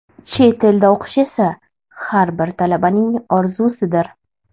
Chet elda o‘qish esa har bir talabaning orzusidir.